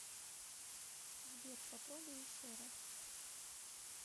сбер попробуй еще раз